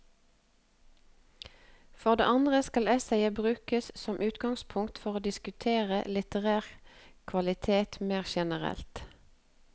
For det andre kan essayet brukes som utgangspunkt for å diskutere litterær kvalitet mer generelt.